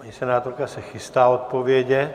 Paní senátorka se chystá odpovědět.